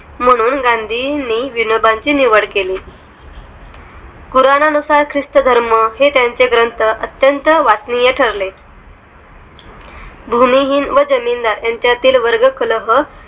म्हणून गांधी विनोबांची निवड केली पुराणानुसार ख्रिस्त धर्म हे त्यांचे ग्रंथ अत्यंत वाचनीय ठरले भूमिहीन व जमीनदार यांच्या तील वर्ग कलह